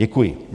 Děkuji.